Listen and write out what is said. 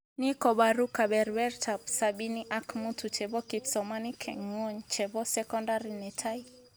Ni kobaru kebebertaab sabini ak mutu chebo kipsomanink eng ngwony chebo sokondar netai?